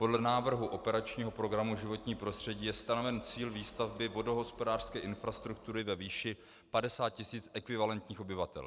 Podle návrhu operačního programu Životní prostředí je stanoven cíl výstavby vodohospodářské infrastruktury ve výši 50 tisíc ekvivalentních obyvatel.